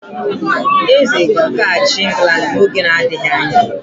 Eze ka ga-achị England n'oge adịghị anya.